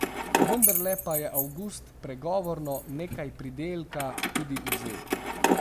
Vendarle pa je avgust pregovorno nekaj pridelka tudi vzel.